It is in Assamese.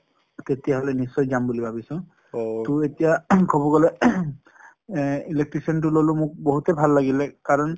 তেতিয়া হলে নিশ্চয় যাম বুলি ভাবিছোঁ । টো এতিয়া কব গলে এ electrician টো ললোঁ মোক বহুতে ভাল লাগিলে কাৰণ